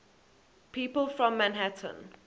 people from manhattan